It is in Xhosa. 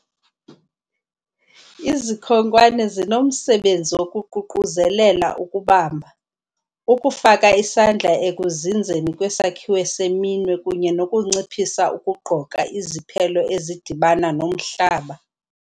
Izikhonkwane zinomsebenzi wokuququzelela ukubamba, ukufaka isandla ekuzinzeni kwesakhiwo seminwe kunye nokunciphisa ukugqoka iziphelo ezidibana nomhlaba.